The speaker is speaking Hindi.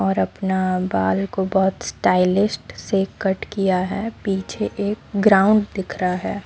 और अपना बाल को बहोत स्टाइलिस्ट से कट किया है पीछे एक ग्राउंड दिख रहा है।